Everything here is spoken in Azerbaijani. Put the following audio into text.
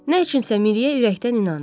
Nə üçünsə Miriyə ürəkdən inandı.